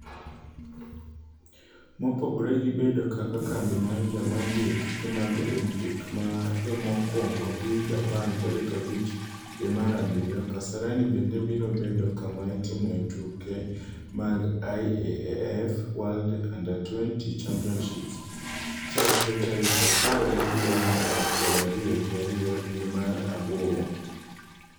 Mopogore gi bedo kaka kambi mar joma dhi e tuke mag Olimpik ma jomokwongo dhi Japan tarik abich dwe mar abiriyo, Kasarani bende biro bedo kama itimoe tuke mag IAAF World U20 Championships chare tarik apar gi abiriyo nyaka piero ariyo gi ariyo dwe mar aboro.